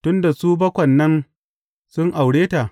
Tun da su bakwan nan, sun aure ta.